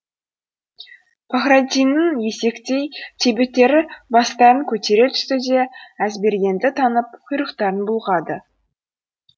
пахраддиннің есектей төбеттері бастарын көтере түсті де әзбергенді танып құйрықтарын бүлғады